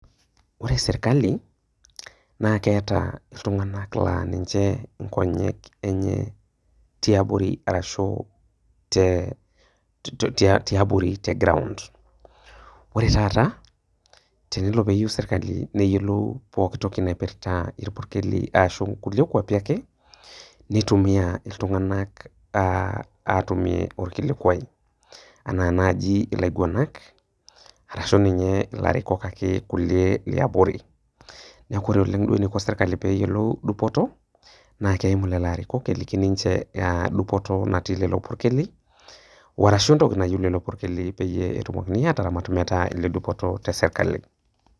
Wore serkali, naa keeta iltunganak naa ninche inkonyek enye, tiabori arashu, te tiabori te ground. Wore taata, tenelo peeyiou serkali neyiolou pookin toki naipirta irpurkeli arashu kulie kuapi ake, nitumiyia iltunganak aah aatumie orkilikuai. Enaa naaji ilaiguanak, arashu ninye ilairukok ake kulie liabori. Neeku wore oleng' eniko serkali pee eyiolou dupoto, naa keimu lelo arikok eliki ninche naa dupoto natii lelo purkeli, arashu entoki nayieu lelo purkeli peyie etumokini aataramat metaa iledupoto tesirkali.